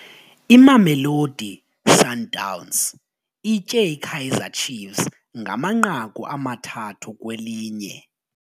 Imamelodi Sundowns itye iKaizer Chiefs ngamanqaku amathathu kwelinye.